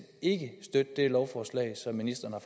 ikke støtte det lovforslag som ministeren har